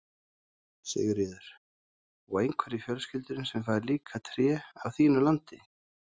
Sigríður: Og einhver í fjölskyldunni sem fær líka tré af þínu landi?